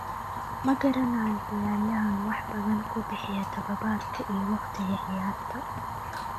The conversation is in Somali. "Ma garanayo ciyaaryahan wax badan ku bixiya tababarka iyo waqtiga ciyaarta."